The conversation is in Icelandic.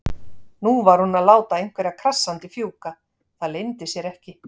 Nú var hún að láta einhverja krassandi fjúka, það leyndi sér ekki.